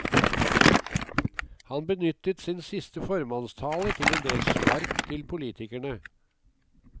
Han benyttet sin siste formannstale til endel spark til politikerne.